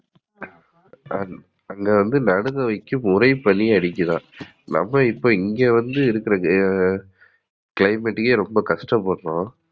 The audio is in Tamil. அங்கவந்து நடுங்கவைக்கும் உறைபனி அடிக்கிதாம். நம்ம வந்து இப்ப இங்க வந்து இருக்குற climate கே ரொம்ப கஷ்டப்படுறோம்.